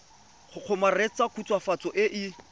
go kgomaretsa khutswafatso e e